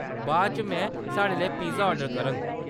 बाद इच में साढ़े लेई पिज्जा ऑर्डर करङ।